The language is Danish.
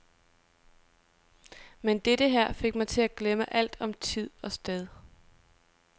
Men dette her fik mig til at glemme alt om tid og sted.